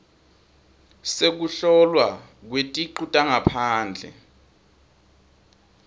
sekuhlolwa kweticu tangaphandle